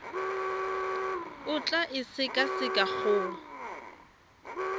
o tla e sekaseka go